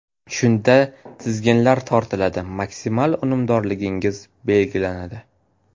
Shunda tizginlar tortiladi, maksimal unumdorligingiz belgilanadi.